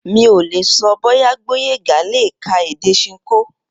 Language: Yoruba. Mi ò lè so̩ bóyá Gbóyèga lè ka èdè s̩inkó